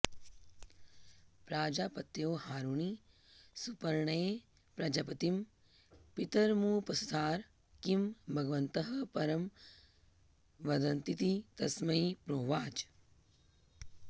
प्राजापत्यो हारुणिः सुपर्णेयः प्रजापतिं पितरमुपससार किं भगवन्तः परमं वदन्तीति तस्मै प्रोवाच